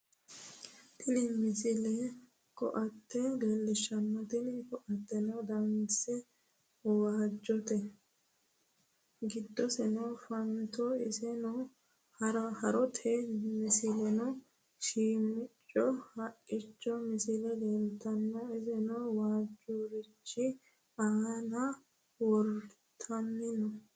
tini misile ko"atte leellishshanno tini ko"atteno danase waajjote giddoseno fanote iseno haarote muslesono shiimicco haqqichote misile leeltanno iseno waajjurichi aana wortanni no